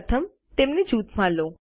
પ્રથમ તેમને જૂથમાં લો